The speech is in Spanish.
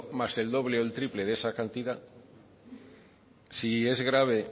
más el doble o el triple de esa cantidad si es grave